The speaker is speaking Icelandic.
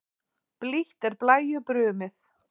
Blítt er blæju brumið.